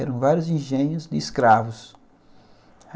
Eram vários engenhos de escravos.